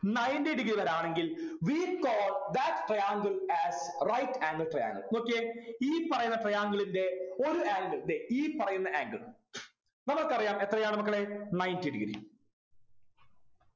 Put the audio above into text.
ninety degree രെ ആണെങ്കിൽ we call that triangle as right angle triangle നോക്കിയേ ഈ പറയുന്ന triangle ന്റെ ഒരു angle ദേ ഈ പറയുന്ന angle നമുക്കറിയാം എത്രയാണ് മക്കളെ ninety degree